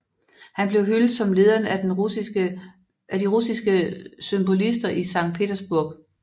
Han blev hyldet som lederen af de russiske symbolister i Sankt Petersburg